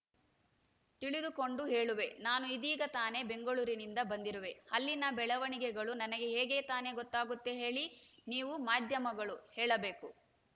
ತಿಳಿದುಕೊಂಡು ಹೇಳುವೆ ನಾನು ಇದೀಗ ತಾನೇ ಬೆಂಗಳೂರಿನಿಂದ ಬಂದಿರುವೆ ಅಲ್ಲಿನ ಬೆಳವಣಿಗೆಗಳು ನನಗೆ ಹೇಗೆ ತಾನೇ ಗೊತ್ತಾಗುತ್ತೆ ಹೇಳಿ ನೀವು ಮಾಧ್ಯಮಗಳು ಹೇಳಬೇಕು